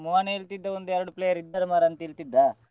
ಮೋಹನ್ ಹೇಳ್ತಿದ್ದ ಒಂದು ಎರಡು player ಇದ್ದಾರೆ ಮಾರ್ರೆ ಅಂತ್ಹೇಳ್ತಿದ್ದ.